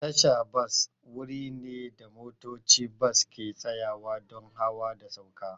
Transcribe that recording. Tasha bas wuri ne da motocin bas ke tsayawa don hawa da sauka.